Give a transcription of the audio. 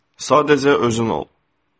Sadəcə özün ol.